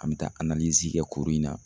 An be taa kɛ kuru in na